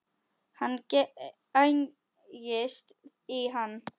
Hann gægist í hann.